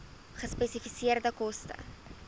gespesifiseerde koste